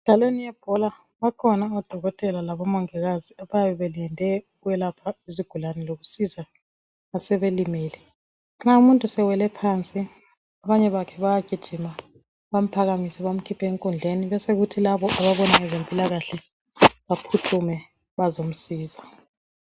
Emidlalweni yebhola bayabe bekhona odokotela labomongikazi abayabe belinde ukwelapha izigulane lokusiza abasebelimele nxa umuntu sewele phansi abanye bakhe bayagijima bamphakamise bekhiphe enkundleni besokusithi laba ababona ngezempilakahle baphuthume bazomsiza.